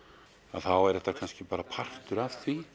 þá er þetta kannski bara partur af því